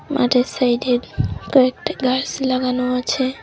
মাঠের সাইডে কয়েকটা গাস লাগানো আছে।